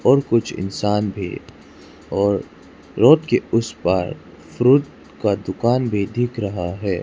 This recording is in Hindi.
और कुछ इंसान भी और रोड के उसे पार फ्रूट का दुकान भी देख रहा है।